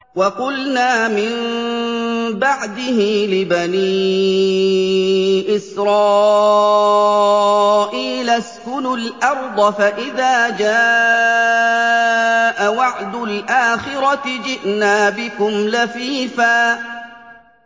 وَقُلْنَا مِن بَعْدِهِ لِبَنِي إِسْرَائِيلَ اسْكُنُوا الْأَرْضَ فَإِذَا جَاءَ وَعْدُ الْآخِرَةِ جِئْنَا بِكُمْ لَفِيفًا